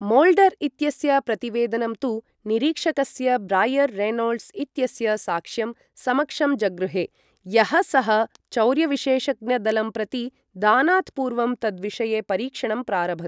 Mulder इत्यस्य प्रतिवेदनं तु निरीक्षकस्य ब्रायर् रेनोल्ड्स् इत्यस्य साक्ष्यं समक्षम् जगृहे, यः सः चौर्यविशेषज्ञ दलं प्रति दानात् पूर्वं तद्विषये परीक्षणं प्रारभत्।